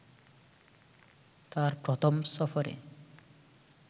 তাঁর প্রথম সফরে